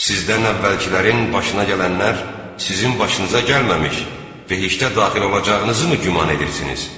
Sizdən əvvəlkilərin başına gələnlər sizin başınıza gəlməmiş behiştə daxil olacağınızı mı güman edirsiniz?